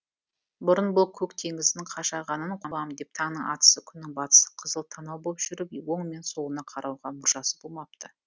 бұрын бұл көк теңіздің қашағанын қуам деп таңның атысы күннің батысы қызыл танау боп жүріп оң мен солына қарауға мұршасы болмапты